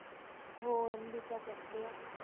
हो MD चा करतेय.